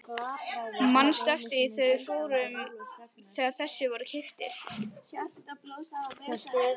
Manstu eftir því þegar þessir voru keyptir?